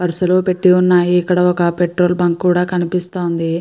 వరసలో పెట్టి ఉన్నాయి. ఇక్కడ ఒక పెట్రోల్ బంక్ కూడా కనిపిస్తోంది.